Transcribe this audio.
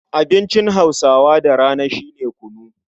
Abincin Hausawa da rana shi ne kunu.